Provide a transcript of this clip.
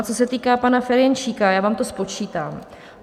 A co se týká pana Ferjenčíka, já vám to spočítám.